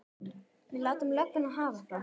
Við látum lögguna hafa það.